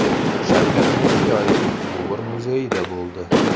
Shavkat Mirziyoyev Luvr muzeyida bo‘ldi.